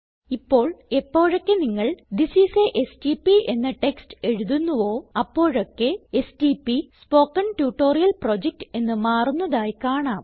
ഇപ്പോൾ എപ്പോഴൊക്കെ നിങ്ങൾ തിസ് ഐഎസ് a എസ്ടിപി എന്ന ടെക്സ്റ്റ് എഴുതുന്നുവോ അപ്പോഴൊക്കെ എസ്ടിപി സ്പോക്കൻ ട്യൂട്ടോറിയൽ പ്രൊജക്ട് എന്ന് മാറുന്നതായി കാണാം